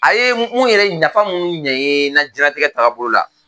A ye mun yɛrɛ nafa minnu ɲɛ ye n ka diɲɛtigɛ tagabolo la